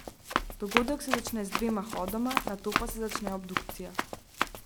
Dogodek se začne z dvema hodoma, nato pa se začne obdukcija.